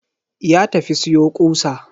Ya tafi siyo ƙusa.